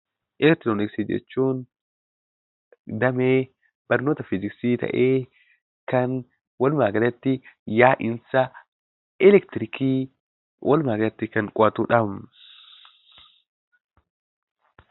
Autoomiksii Damee barnoota fiiziksii ta'ee, kan walumaa galatti yaa'insa eleektirikii walumaa galatti kan qo'atudha.